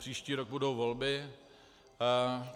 Příští rok budou volby.